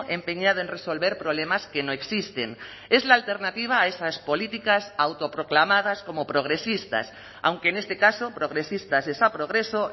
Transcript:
empeñado en resolver problemas que no existen es la alternativa a esas políticas autoproclamadas como progresistas aunque en este caso progresistas es a progreso